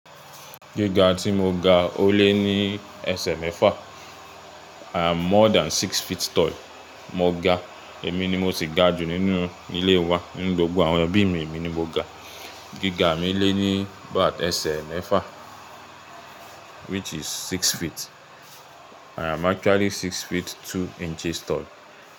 Gíga tí mo ga ó lé ní ẹsẹ̀ mẹ́fà, I'm more than six feet tall. Mo ga, èmi ni mo sì ga jù nínú ilé wa. Nínú gbogbo àwọn ẹbí mi, èmi ni mo ga. Gíga mi lé ní bàáta ẹsẹ̀ mẹ́fà which is six feet. I'm actually six feet two inches tall.